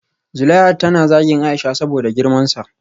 Zuleihat tana zagin Aisha saboda girmansa